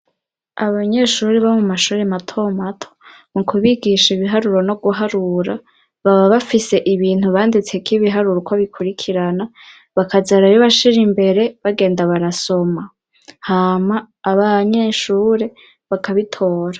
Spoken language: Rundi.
Abanyeshuri bo mu mashuri mato mato mu kubigisha ibiharuro no guharura baba bafise ibintu banditseko ibiharuro uko bikurikirana bakaza barabibashira imbere bagenda barasoma, hama abanyeshure bakabitora.